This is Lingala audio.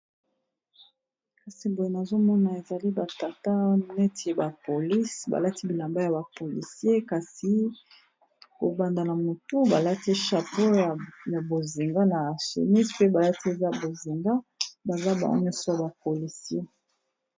kasi boye nazomona ezali batata neti ya bapolise balati bilamba ya bapolisie kasi kobandana motu balati chapeaur ya bozinga na senis mpe balati eza bozinga baza bango nyonso ya bapolisi